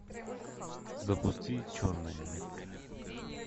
запусти черная метка